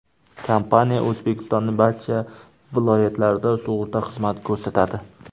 Kompaniya O‘zbekistonning barcha viloyatlarida sug‘urta xizmati ko‘rsatadi.